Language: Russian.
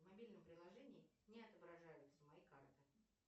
в мобильном приложении не отображаются мои карты